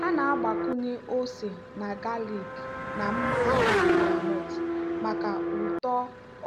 ha na-agbakwunye ose na galik na mmanụ groundnut maka ụtọ